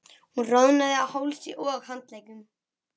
Hún roðnaði á hálsi og handleggjum.